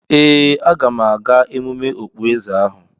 Ee, aga m aga emume okpueze ahu.